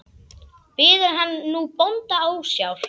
Biður hann nú bónda ásjár.